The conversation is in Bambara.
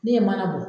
Ne ye mana bɔ